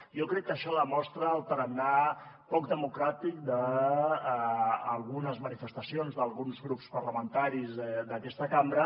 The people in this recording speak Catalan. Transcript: jo crec que això demostra el tarannà poc democràtic d’algunes manifestacions d’alguns grups parlamentaris d’aquesta cambra